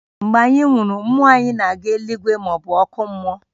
Mgbe anyị nwụrụ, mmụọ anyị na-aga eluigwe maọbụ ọkụ mmụọ